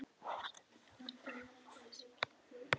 sagði Gunni eldrauður í framan af æsingi.